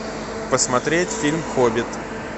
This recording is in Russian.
посмотреть фильм хоббит